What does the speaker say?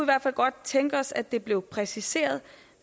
hvert fald godt tænke os at det blev præciseret